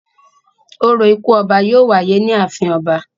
Orȯ ikú ọba yóò wáyé ní ààfin ọba.